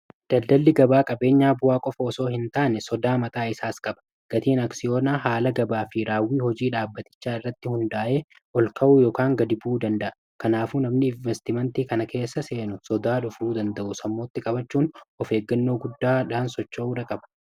daldalli gabaa qabeenyaa bu'aa qofaosoo hin taane sodaa maxaa isaas qaba gatiin aksiyoonaa haala gabaa fi raawwii hojii dhaabbatichaa irratti hundaa'ee ol ka'uu ykn gadi buu danda'a kanaafuu namni investimentii kana keessa seenu sodaa dhufruu danda'u sammootti qabachuun of eeggannoo guddaa dhaansocho uura qaba